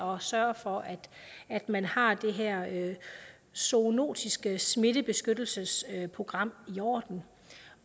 og sørge for at man har det her zoonotiske smittebeskyttelsesprogram i orden